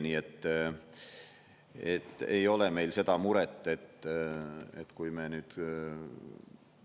Nii et ei ole meil seda muret, et kui me nüüd